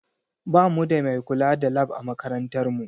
Ba mu da mai kula da Lab a makarantar mu